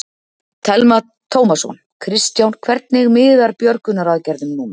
Telma Tómasson: Kristján, hvernig miðar björgunaraðgerðum núna?